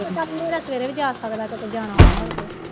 ਸਵੇਰੇ ਵੀ ਜਾ ਸਕਦਾ ਕਿਉਂਕਿ ਜਾਣਾ ਹੋਣਾ ਉਥੇ